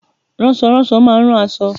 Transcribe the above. Ránsoránso má a nrán aṣọ